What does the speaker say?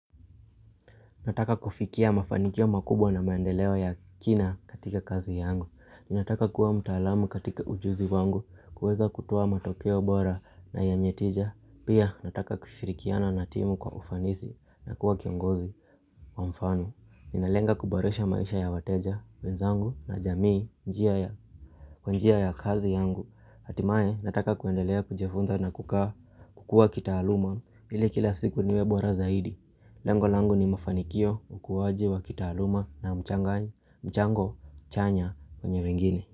Nataka kufikia mafanikio makubwa na maendeleo ya kina katika kazi yangu Nataka kuwa mtaalamu katika ujuzi wangu kuweza kutoa matokeo bora na yenye tija Pia nataka kushirikiana na timu kwa ufanisi na kuwa kiongozi Mwamfano, ninalenga kuboresha maisha ya wateja, wenzangu na jamii njia ya kwa njia ya kazi yangu Hatimaye nataka kuendelea kujifunza na kukua kitaaluma ili kila siku niwe bora zaidi Lengo lango ni mafanikio ukuwaji wa kitaaluma na mchanganyo mchango chanya kwenye wengine.